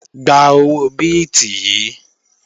Gba owó bíìtì yìí!